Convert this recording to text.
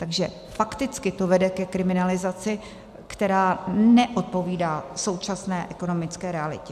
Takže fakticky to vede ke kriminalizaci, která neodpovídá současné ekonomické realitě.